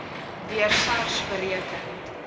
deur sars bereken